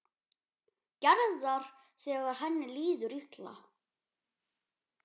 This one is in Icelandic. Gerðar þegar henni líður illa.